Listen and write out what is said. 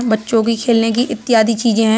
बच्चों के खेलने की इत्यादि चीजे हैं।